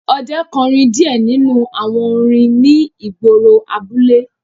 Ọdẹ kọrin diẹ ninu awọn orin ni igboro abule